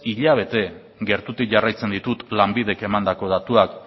hilabete gertutik jarraitzen ditut lanbidek emandako datuak